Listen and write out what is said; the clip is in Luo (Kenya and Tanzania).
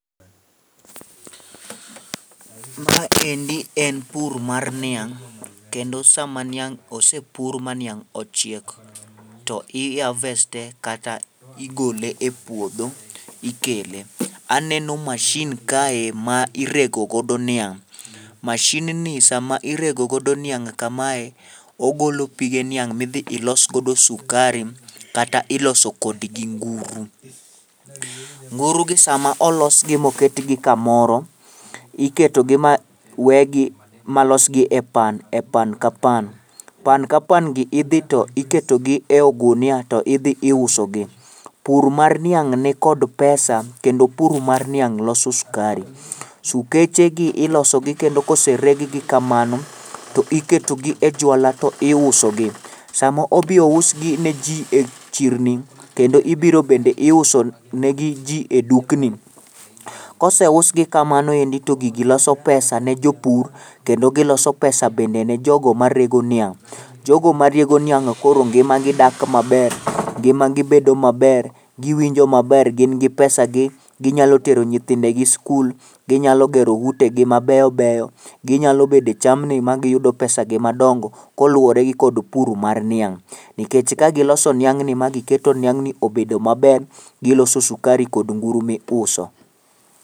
Ma endi en pur mar niang' kendo sama niang' osepur ma niang' ochiek, to i harvest e kata igole e puodho, ikele. Aneno mashin kae ma irego godo niang',mashinni sama irego godo niang' kamae, ogolo pige niang' midhi iloso godo sukari kata iloso kodgi nguru. Ngurugi sama olosgi ma oketgi kamoro, iketogi ma wegi ma losgi e pan ka pan, pan ka pangi idhi to iketogi e ogunia to idhi iusogi. Pur mar niang' nikod pesa kendo pur mar niang' loso skari. Sukechegi ilosogi kendo kosereggi kamano, to iketogi e jwala to iusogi, samo obi ousgi ne ji e chirni, kendo ibiro bende iuso negi ji,e dukni, kose usgi kamano endi to gigi loso pesa ne jopur, kendo giloso pesa bende ne jogo marego niang'. Jogo marego niang'go koro ngimagi dak maber, ngimagi bedo maber, giwinjo maber gin gi pesagi, ginyalo tero nyithindegi skul. Ginyalo gero utegi mabey beyo, ginyalo bede e chamni magiyudo pesagi madongo koluwore gi kod pur mar niang',nikech kagiloso niang'ni magiketo niang'ni obedo maber, giloso sukari kod nguru miuso.